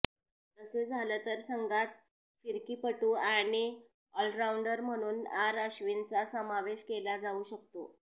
तसे झाले तर संघात फिरकीपटू आणि ऑलराउंडर म्हणून आर अश्विनचा समावेश केला जाऊ शकतो